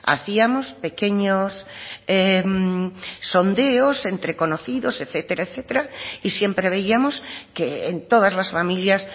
hacíamos pequeños sondeos entre conocidos etcétera etcétera y siempre veíamos que en todas las familias